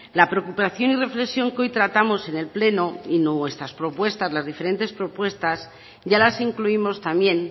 la preocupación y reflexión que hoy tratamos en el pleno y nuestras propuestas las diferentes propuestas ya las incluimos también